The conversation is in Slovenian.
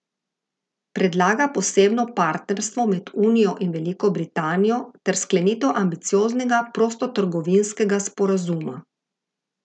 Predlaga posebno partnerstvo med unijo in Veliko Britanijo ter sklenitev ambicioznega prostotrgovinskega sporazuma.